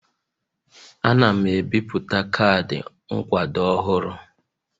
Ana m ebipụta kaadị nkwado ọhụrụ